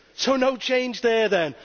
So no change there then.